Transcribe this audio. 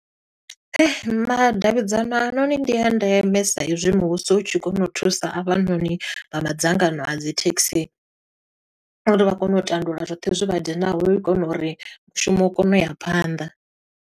Madavhidzana anoni ndi ya ndeme, sa i zwi muvhuso u tshi kona u thusa avhanoni vha madzangano a dzi thekhisi uri vha kone u tandulula zwoṱhe zwi vha dinaho, hu u kona uri mushumo u kone u ya phanḓa.